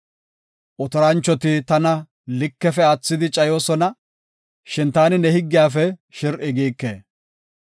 Otoranchoti tana likefe aathidi cayoosona; shin taani ne higgiyafe sher7i giike.